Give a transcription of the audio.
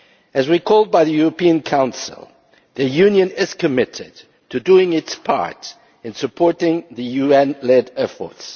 aid. As recalled by the European Council, the Union is committed to doing its part in supporting the UN led efforts.